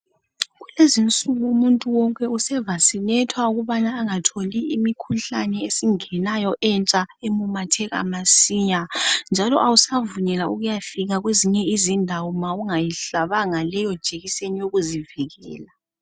Kulezi insuku umuntu wonke usehlatshwa amajekiseni ukuthi bangatholi imikhuhlane efikayo emitsha ememetheka masinya, njalo akusavunyelwa ukuthi uyefika kwezinye izindawo uma ungayihlabanga leyo jekiseni yokuzivikela.